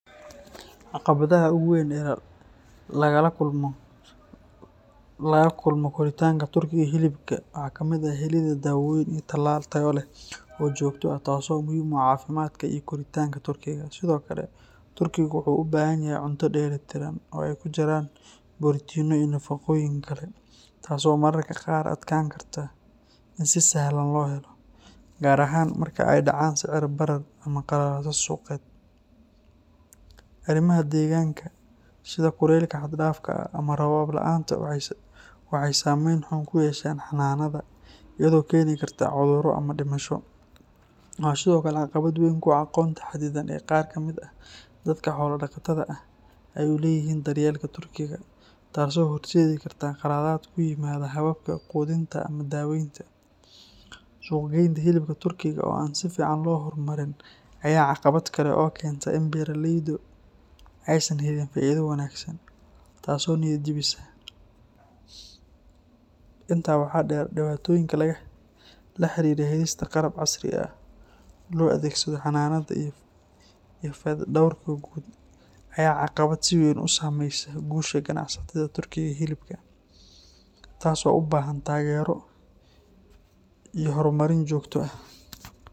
Caqabadaha ugu weyn ee laga kulmo korinta turkiga hilibka waxaa kamid ah helidda daawooyin iyo talaal tayo leh oo joogto ah, taasoo muhiim u ah caafimaadka iyo koritaanka turkiga. Sidoo kale, turkigu wuxuu u baahan yahay cunto dheelli tiran oo ay ku jiraan borotiinno iyo nafaqooyin kale, taasoo mararka qaar adkaan karta in si sahlan loo helo, gaar ahaan marka ay dhacaan sicir barar ama qalalaaso suuqeed. Arrimaha deegaanka sida kuleylka xad dhaafka ah ama roobab la’aanta waxay saameyn xun ku yeeshaan xanaanada, iyadoo keeni karta cudurro ama dhimasho. Waxaa sidoo kale caqabad weyn ku ah aqoonta xaddidan ee qaar kamid ah dadka xoolo dhaqatada ah ay u leeyihiin daryeelka turkiga, taasoo horseedi karta qaladaad ku yimaada hababka quudinta ama daaweynta. Suuq-geynta hilibka turkiga oo aan si fiican loo horumarin ayaa ah caqabad kale oo keenta in beeraleydu aysan helin faa’iido wanaagsan, taasoo niyad jabisa. Intaa waxaa dheer, dhibaatooyinka la xiriira helista qalab casri ah oo loo adeegsado xanaanada iyo fayadhowrka guud ayaa ah caqabado si weyn u saameeya guusha ganacsiga turkiga hilibka, taasoo u baahan taageero iyo horumarin joogto ah.